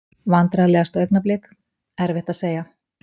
Vandræðalegasta augnablik: Erfitt að segja.